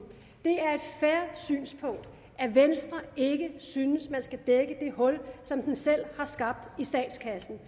fair synspunkt at venstre ikke synes at man skal dække det hul som de selv har skabt i statskassen